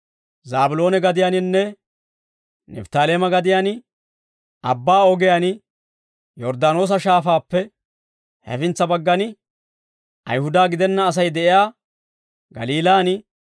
«Zaabiloone gadiyaaninne Nifttaaleeme gadiyaan, abbaa ogiyaan Yorddaanoosa Shaafaappe hefintsa baggan, Ayihuda gidenna Asay de'iyaa Galiilaan,